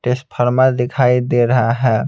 टेस्टफार्मर दिखाई दे रहा है.